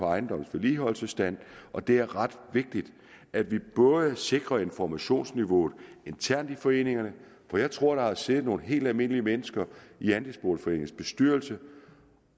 ejendommens vedligeholdelsesstand og det er ret vigtigt at vi sikrer informationsniveauet internt i foreningerne for jeg tror der har siddet nogle helt almindelige mennesker i andelsboligforeningens bestyrelse